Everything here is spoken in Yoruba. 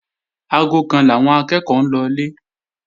Aago kan làwọn akẹ́ẹ̀kọ́ ń lọlé